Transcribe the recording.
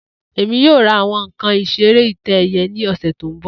Emi yoo ra awọn nkan isere itẹ-ẹiyẹ ni ọsẹ to nbọ